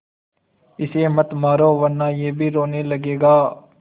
इसे मत मारो वरना यह भी रोने लगेगा